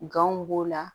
Ganw b'o la